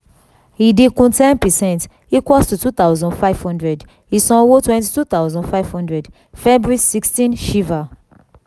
ìdinkù ten per cent equals to two thousand five hundred ìsanwó twenty two thousand five hundred february sixteen shiva